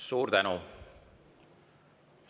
Suur tänu!